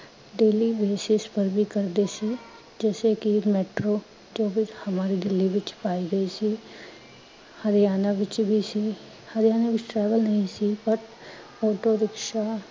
daily ਪਰ ਵੀ ਕਰਦੇ ਸੀ ਜੈਸੇ ਕੀ metro ਜੋ ਸਿਰਫ ਹਮਾਰੀ ਦਿਲੀ ਵਿਚ ਪਾਈ ਗਈ ਸੀ, ਹਰਿਆਣਾ ਵਿਚ ਵੀ ਸੀ, ਹਰਿਆਣਾ ਵਿਚ travel ਨਹੀਂ ਸੀ ਪਰ autorikshaw